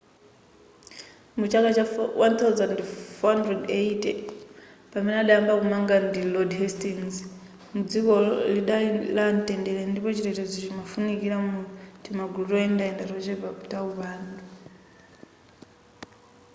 mu chaka cha 1480 pamene adayamba kumanga ndi lord hastings dzikolo lidaliko la mtendere ndipo chitetezo chimafunikira mu timagulu toyendayenda tochepa ta upandu